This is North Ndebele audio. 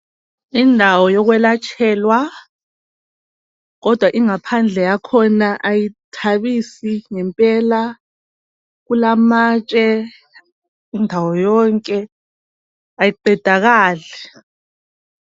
Indawo yokwelatshelwa kodwa ingaphandle yakhona kayithabisi ngempela kulamatshe indawo yonke ayiqedakali.